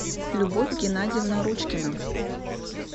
любовь геннадьевна ручкина